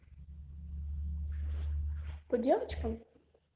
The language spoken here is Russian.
по девочкам